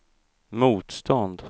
motstånd